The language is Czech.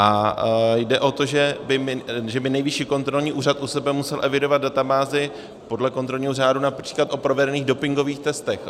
A jde o to, že by Nejvyšší kontrolní úřad u sebe musel evidovat databázi podle kontrolního řádu například o provedených dopingových testech.